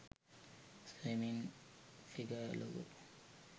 swmming figure logo